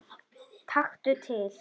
Taktu til.